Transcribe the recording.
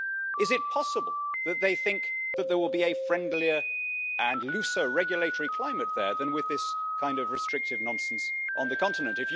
Is it possible that they think there will be a friendlier and looser regulatory climate there than with this kind of restrictive nonsense on the continent?